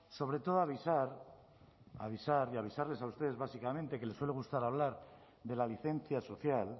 sobre todo avisar avisar y avisarles a ustedes básicamente que les suele gustar hablar de la licencia social